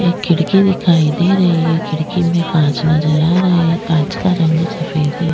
एक खिड़की दिखाई दे रही है खिड़की में कांच नज़र आ रहा है कांच का रंग सफ़ेद है।